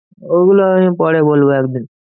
ওগুলো আমি পরে বলবো একদিন।